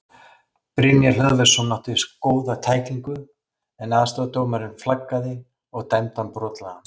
Brynjar Hlöðversson átti góða tæklingu en aðstoðardómarinn flaggaði og dæmdi hann brotlegan.